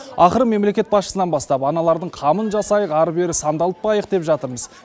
ақыры мемлекет басшысынан бастап аналардың қамын жасайық ары бері сандалтпайық деп жатырмыз